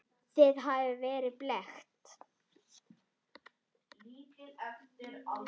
Þið hafið verið blekkt.